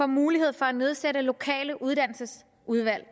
mulighed for at nedsætte lokale uddannelsesudvalg